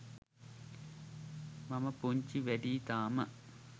මම පුංචි වැඩියි තාම.